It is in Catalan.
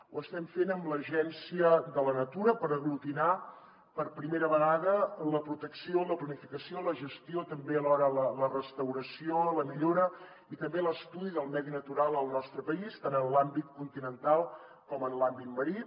ho estem fent amb l’agència de la natura per aglutinar per primera vegada la protecció la planificació la gestió també alhora la restauració la millora i també l’estudi del medi natural al nostre país tant en l’àmbit continental com en l’àmbit marí